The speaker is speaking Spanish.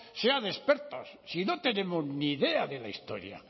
sean expertos si no tenemos ni idea de la historia